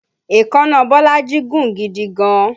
Èékánná Bolaji gùn gidi gan-an